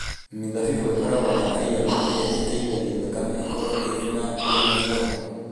Mĩthabibũ ĩkoragwo na iron ĩrĩa ĩteithagia thakame ĩkorũo ĩrĩ na ũgima mwega.